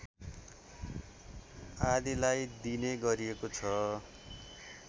आदिलाई दिने गरिएको छ